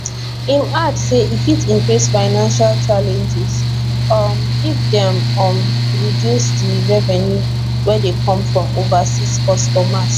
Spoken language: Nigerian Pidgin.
im add say e fit increase financial challenges um if dem um reducing di revenue wey dey come from overseas customers